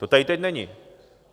To tady teď není.